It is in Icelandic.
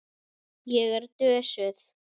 Ég er dösuð.